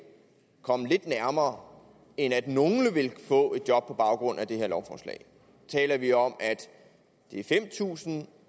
komme det lidt nærmere end at nogle vil få et job på baggrund af det her lovforslag taler vi om fem tusind